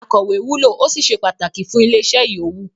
“Akọ̀wẹ́” wúlò ó sì se pàtàkì fún ilé-iṣẹ́ yòówù.